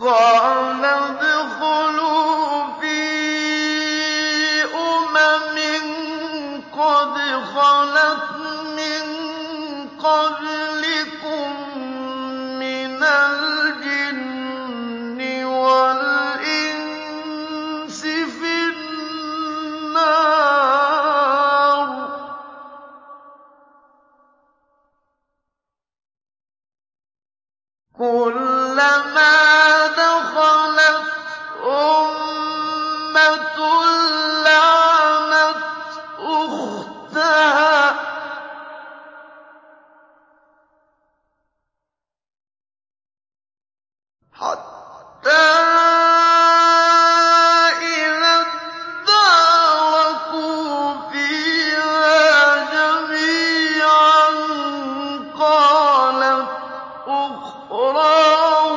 قَالَ ادْخُلُوا فِي أُمَمٍ قَدْ خَلَتْ مِن قَبْلِكُم مِّنَ الْجِنِّ وَالْإِنسِ فِي النَّارِ ۖ كُلَّمَا دَخَلَتْ أُمَّةٌ لَّعَنَتْ أُخْتَهَا ۖ حَتَّىٰ إِذَا ادَّارَكُوا فِيهَا جَمِيعًا قَالَتْ أُخْرَاهُمْ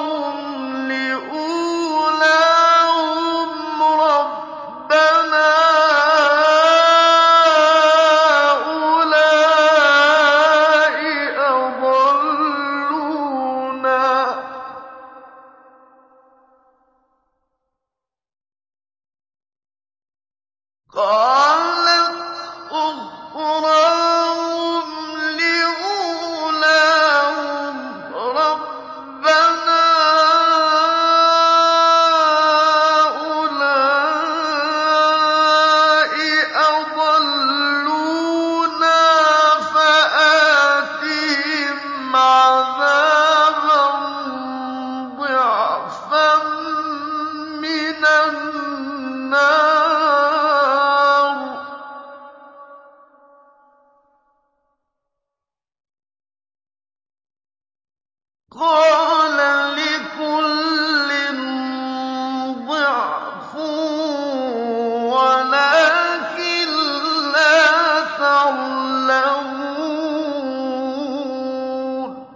لِأُولَاهُمْ رَبَّنَا هَٰؤُلَاءِ أَضَلُّونَا فَآتِهِمْ عَذَابًا ضِعْفًا مِّنَ النَّارِ ۖ قَالَ لِكُلٍّ ضِعْفٌ وَلَٰكِن لَّا تَعْلَمُونَ